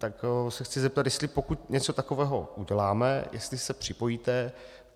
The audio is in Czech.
Tak se chci zeptat, jestli pokud něco takového uděláme, jestli se připojíte.